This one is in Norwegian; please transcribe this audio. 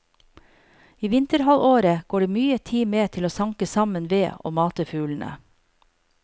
I vinterhalvåret går det mye tid med til å sanke sammen ved og mate fuglene.